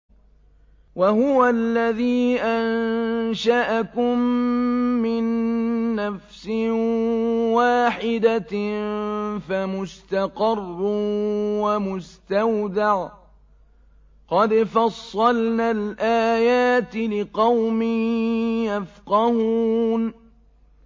وَهُوَ الَّذِي أَنشَأَكُم مِّن نَّفْسٍ وَاحِدَةٍ فَمُسْتَقَرٌّ وَمُسْتَوْدَعٌ ۗ قَدْ فَصَّلْنَا الْآيَاتِ لِقَوْمٍ يَفْقَهُونَ